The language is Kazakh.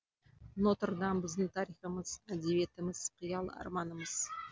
нотр дам біздің тарихымыз әдебиетіміз қиял арманымыз